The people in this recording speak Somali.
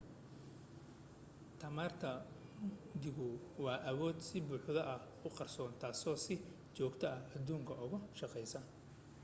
tamarta mugdigu waa awood si buuxda u qarsoon taasoo si joogta ah aduunka uga shaqaysa